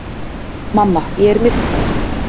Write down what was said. Mamma, ég er myrkfælinn.